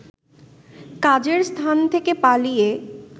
কাজের স্থান থেকে পালিয়ে